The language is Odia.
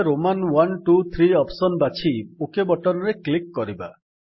ଆମେ ରୋମାନ iiiଆଇଆଇ ଅପ୍ସନ୍ ବାଛି ଓକ୍ ବଟନ୍ ରେ କ୍ଲିକ୍ କରିବା